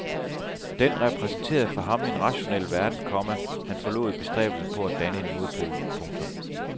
Den repræsenterede for ham en rationel verden, komma han forlod i bestræbelserne på at danne en modpol. punktum